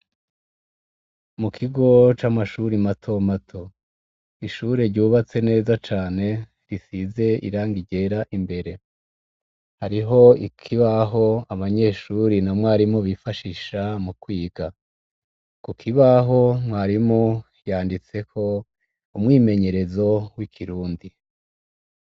Mu kigo c'amashuri mato mato, ishure ryubatse neza cane risize irangi ryera imbere hariho ikibaho abanyeshuri na mwarimu bifashisha mu kwiga, ku kibaho mwarimu yanditseko umwimenyerezo w'ikirundi.